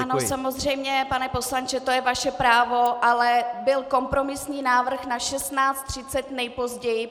Ano, samozřejmě, pane poslanče, to je vaše právo, ale byl kompromisní návrh na 16.30 nejpozději.